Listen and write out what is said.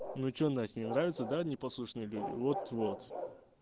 ну что насть не нравится да непослушные люди вот-вот